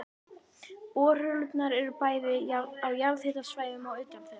Borholurnar eru bæði á jarðhitasvæðum og utan þeirra.